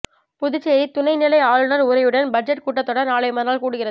புதுச்சேரி துணை நிலை ஆளுநர் உரையுடன் பட்ஜெட் கூட்டத்தொடர் நாளை மறுநாள் கூடுகிறது